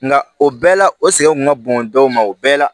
Nka o bɛɛ la o sɛgɛn kun ka bon dɔw ma o bɛɛ la